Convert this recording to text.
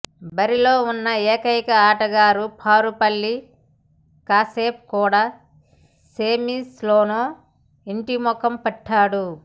బరిలో ఉన్న ఏకైక ఆటగాడు పారుపల్లి కశ్యప్ కూడా సెమీస్లోనే ఇంటిముఖం పట్టాడు